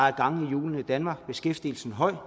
er gang i hjulene i danmark beskæftigelsesgraden